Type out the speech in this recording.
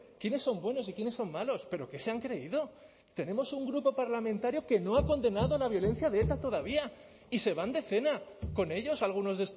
quiénes son buenos y quiénes son malos pero qué se han creído tenemos un grupo parlamentario que no ha condenado la violencia de eta todavía y se van de cena con ellos algunos